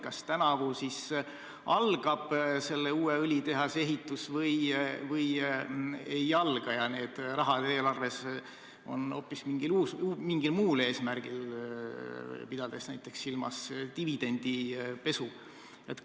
Kas tänavu siis algab selle uue õlitehase ehitus või ei alga ja need rahad eelarves on hoopis mingil muul eesmärgil, pidades silmas näiteks dividendipesu?